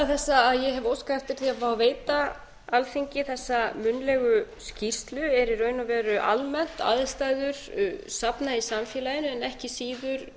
fá að veita alþingi þessa munnlegu skýrslu er í raun og veru almennt aðstæður safna í samfélaginu en ekki síður